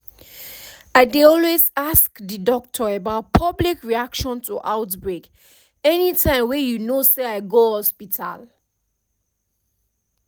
i dey always ask the doctor about public reaction to outbreak anytym wey you know say i go hospital